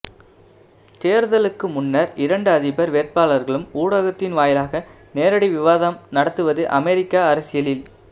தேர்தலுக்கு முன்னர் இரண்டு அதிபர் வேட்பாளர்களும் ஊடகத்தின் வாயிலாக நேரடி விவாதம் நடத்துவது அமெரிக்க அரசியலில்